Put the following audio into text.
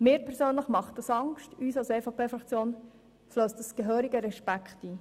Mir persönlich macht dies Angst, und uns als EVP-Fraktion flösst dies gehörigen Respekt ein.